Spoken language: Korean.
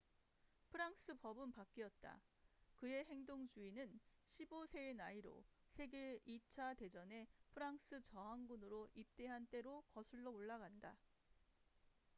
프랑스 법은 바뀌었다 그의 행동주의는 15세의 나이로 세계 2차 대전에 프랑스 저항군으로 입대한 때로 거슬러 올라간다